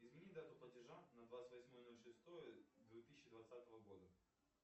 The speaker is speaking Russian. измени дату платежа на двадцать восьмое ноль шестое две тысячи двадцатого года